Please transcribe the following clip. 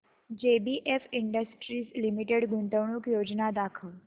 JBF industries limited गुंतवणूक योजना दाखव